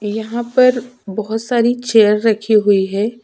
यहाँ पर बहुत सारी चेयर रखी हुई है।